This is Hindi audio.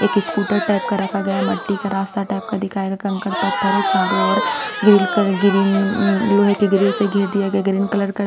एक स्कूटर टाइप का रखा गया है मट्टी का रास्ता टाइप का दिखाएगा कंकड़ पत्थर है चारों ओर ग्रिल कलर ग्रीन लोहे के ग्रिल से घेर दिया गया ग्रीन कलर का --